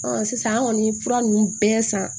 sisan an kɔni ye fura ninnu bɛɛ san